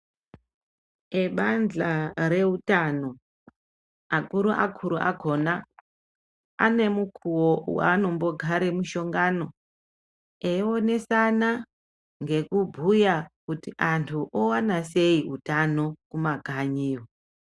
Ebanja reutano, akuruakuru akona anemukuvo vaanombogare mushangano eionesana ngekubhuya kuti antu ovana sei utano kumakanyiyo.